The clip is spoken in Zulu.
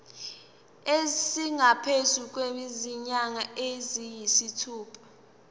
esingaphezu kwezinyanga eziyisithupha